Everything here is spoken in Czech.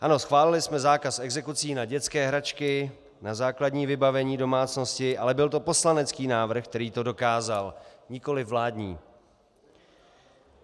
Ano, schválili jsme zákaz exekucí na dětské hračky, na základní vybavení domácnosti, ale byl to poslanecký návrh, který to dokázal, nikoliv vládní.